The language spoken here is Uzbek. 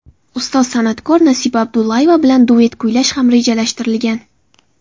Ustoz san’atkor Nasiba Abdullayeva bilan duet kuylash ham rejalashtirilgan.